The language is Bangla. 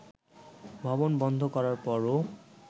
ভবন বন্ধ করার পরও